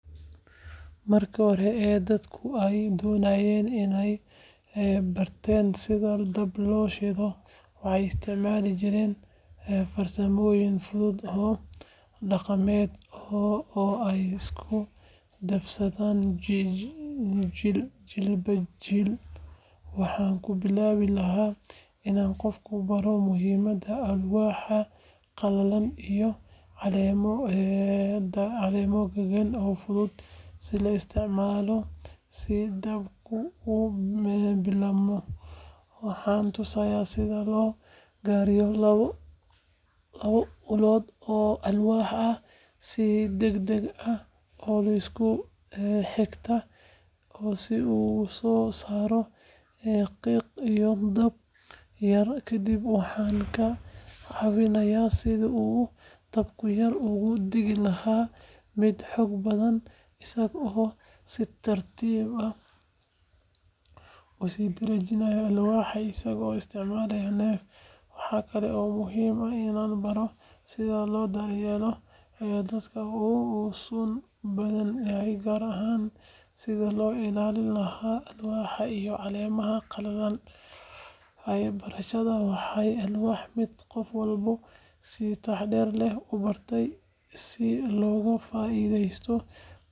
Markii hore ee dadku ay doonayeen inay barteen sida dab loo shido waxay isticmaali jireen farsamooyin fudud oo dhaqameed oo ay isku dhaafsadaan jiilba jiil. Waxaan ku bilaabi lahaa inaan qofka baro muhiimadda alwaax qalalan iyo caleemo dhagan oo fudud in la isticmaalo si dabka u bilaabmo. Waxaan tusayaa sida loo gariiro labo ulood oo alwaax ah si degdeg ah oo isku xigta si uu u soo saaro qiiq iyo dab yar. Kadib waxaan ka caawinayaa sidii uu dabka yar uga dhigi lahaa mid xoog badan isagoo si tartiib ah u sii dareerinaaya hawada adigoo isticmaalaya neef. Waxa kale oo muhiim ah inaan baro sida loo daryeelo dabka si uusan u baaba’in, gaar ahaan sidii loo ilaalin lahaa alwaaxda iyo caleemaha qalalan. Barashadan waxay ahayd mid qof walba si taxaddar leh u bartay si looga faa’iideysto kulaylka iyo karinta cuntada.